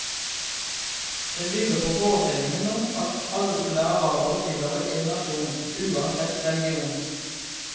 Den bygger på forestillingen om at alle arabere tilhører én nasjon, uansett religion.